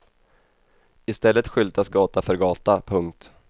I stället skyltas gata för gata. punkt